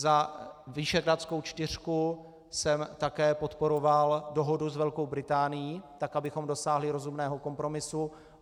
Za Visegrádskou čtyřku jsem také podporoval dohodu s Velkou Británií, tak abychom dosáhli rozumného kompromisu.